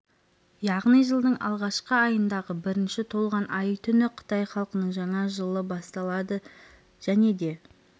яғни жылдың алғашқы айындағы бірінші толған ай түні қытай халқының жаңа жылы басталады және де